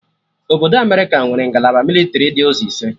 Obodo Amerịka nwere ngalaba mịlịtrị dị ụzọ ise